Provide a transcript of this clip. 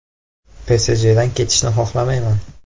PSJdan ketishni xohlamayman.